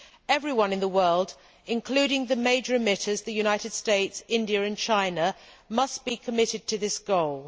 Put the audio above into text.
Everyone in the world, including the major emitters the United States, India and China must be committed to this goal.